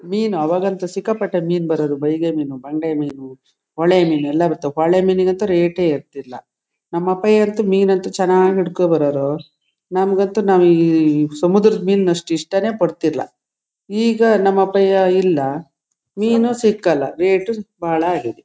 ಮೀನು ಆವಾಗಂತೂ ಸಿಕ್ಕಾಪಟ್ಟೆ ಮೀನು ಬರೋರು ಬಯಗೆ ಮೀನು ಬಂಗಡೆ ಮೀನು ಹೊಳೆ ಮೀನು ಎಲ್ಲಾ ಬತವ ಹೊಳೆ ಮೀನುಗಂತೂ ರೇಟ್ ಏರತಿರಲಿಲ್ಲಾ ನಮ್ಮ ಅಪ್ಯಾಯ ಅಂತೂ ಮೀನು ಅಂತೂ ಚನ್ನಾಗಿ ಹಿಡಕೊ ಬರೋರು ನಮ್ಮಗಂತೂ ಸಮುದ್ರದ ಮೀನು ಅಷ್ಟು ಇಷ್ಟ ಪಡಲ್ಲಾಈಗ ನಮ್ಮ ಅಪ್ಪಯ್ಯ ಇಲ್ಲಾ ಮೀನು ಸಿಕಲ್ಲಾ ರೇಟು ಬಹಳ ಆಗಿದೆ.